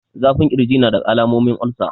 Zafin kirji nadaga alamomin olsa